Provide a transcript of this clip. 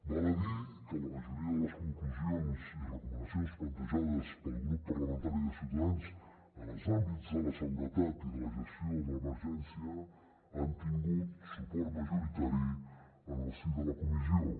val a dir que la majoria de les conclusions i recomanacions plantejades pel grup parlamentari de ciutadans en els àmbits de la seguretat i de la gestió de l’emergència han tingut suport majoritari en el si de la comissió